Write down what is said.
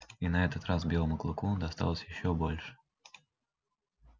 и на этот раз белому клыку досталось ещё больше